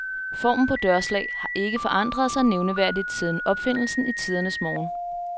Formen på dørslag har ikke forandret sig nævneværdigt siden opfindelsen i tidernes morgen.